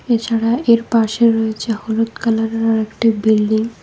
এছাড়া এর পাশে রয়েছে হলুদ কালারের আরেকটি বিল্ডিং ।